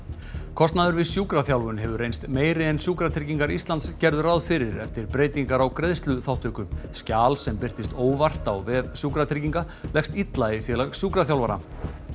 kostnaður við sjúkraþjálfun hefur reynst meiri en Sjúkratryggingar Íslands gerðu ráð fyrir eftir breytingar á greiðsluþátttöku skjal sem birtist óvart á vef Sjúkratrygginga leggst illa í Félag sjúkraþjálfara